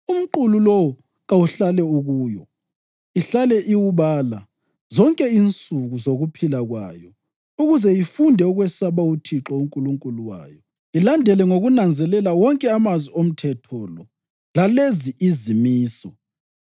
Umqulu lowo kawuhlale ukuyo, ihlale iwubala zonke insuku zokuphila kwayo ukuze ifunde ukwesaba uThixo uNkulunkulu wayo, ilandele ngokunanzelela wonke amazwi omthetho lo lalezi izimiso,